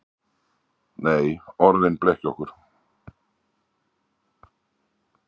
Nei, orðin blekkja okkur.